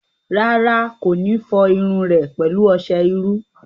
Rárá, kò ní fọ irun rẹ̀ pẹ̀lú ọsẹ iru